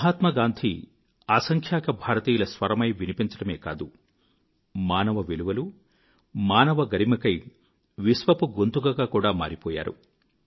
మహాత్మాగాంధీ అసంఖ్యాక భారతీయుల స్వరమై వినిపించడమే కాదు మానవ విలువలు మానవ గరిమకై విశ్వపు గొంతుకగా కూడా మారిపోయారు